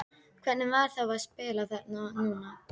Hvernig var þá að spila þarna núna?